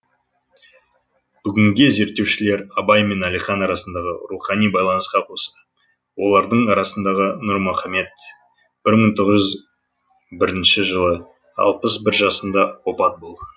бүгінде зерттеушілер абай мен әлихан арасындағы рухани байланысқа қоса олардың арасындағы нұрмұхамед бір мың тоғыз жүз бірінші жылы алпыс бір жасында опат болған